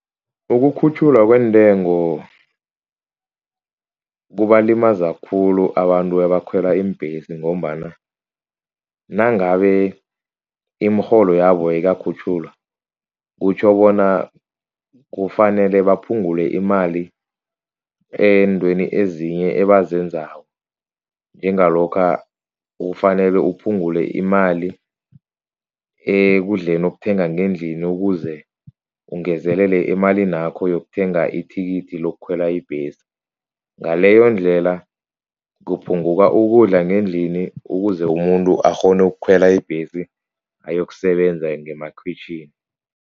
Ukukhutjhulwa kwentengo kubalimaza khulu abantu abakhwela iimbhesi ngombana nangabe imirholo yabo ayikakhutjhulwa, kutjho bona kufanele baphungule imali eentweni ezinye ebazenzako. Njengalokha kufanele uphungule imali ekudleni okuthenga ngendlini, ukuze ungezelele emalini yakho yokuthenga ithikithi lokukhwela ibhesi. Ngaleyondlela kuphunguka ukudla ngendlini ukuze umuntu akghone ukukhwela ibhesi ayokusebenza ngemakhwitjhini.